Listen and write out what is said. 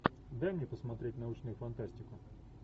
дай мне посмотреть научную фантастику